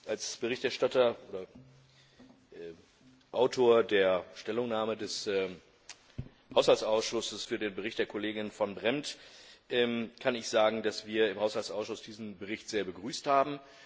Als Verfasser der Stellungnahme des Haushaltsausschusses für den Bericht der Kollegin Van Brempt kann ich sagen, dass wir im Haushaltsausschuss diesen Bericht sehr begrüßt haben.